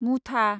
मुथा